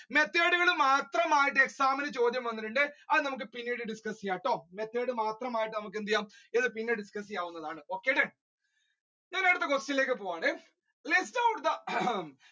method മാത്രം ആയിട്ട് exam നു ചോദ്യം വന്നിട്ടുണ്ട്. അത് നമുക്ക് പിന്നീട് discuss ചെയ്യാട്ടോ method മാത്രമായിട്ട് നമുക്കെന്തെയ്യാം ഇത് പിന്നീട് discuss ചെയ്യാവുന്നതാണ്. Okay done ഞാനടുത്ത question ലേക്ക് പോകാണ് list out the ഏർ